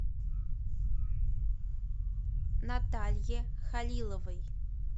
наталье халиловой